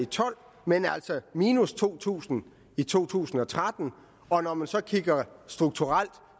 tolv men altså minus to tusind i to tusind og tretten og når man så kigger på strukturelt